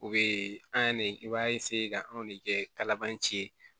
U be an ne i b'a ka anw de kɛ laban ci ye